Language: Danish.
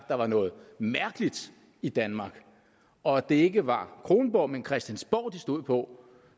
der var noget mærkeligt i danmark og at det ikke var kronborg men christiansborg de stod på